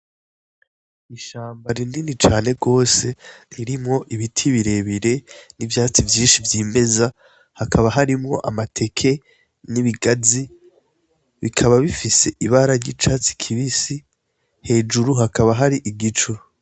Ishamba rinini cane gose ririmwo ibiti birebire n' ivyatsi vyinshi vyimeza hakaba harimwo amateke n'ibigazi bikaba bifise ibara ry'icatsi kibisi hejuru hakaba hari igicu.